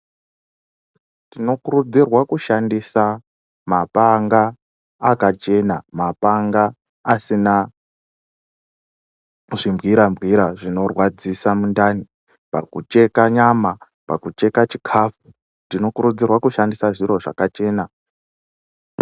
Tinokurudzirwa kushandisa mapanga akachena mapanga asina zvimbwira-mbwira zvinorwadzisa mundani pakucheka nyama pakucheka chikafu tinokurudzirwa kushandisa zviro zvakachena.